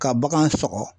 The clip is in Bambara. Ka bagan sɔgɔ